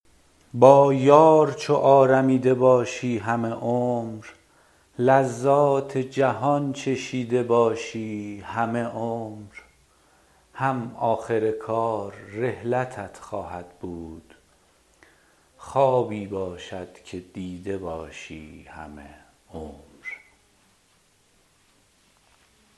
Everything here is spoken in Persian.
با یار چو آرمیده باشی همه عمر لذات جهان چشیده باشی همه عمر هم آخر کار رحلتت خواهد بود خوابی باشد که دیده باشی همه عمر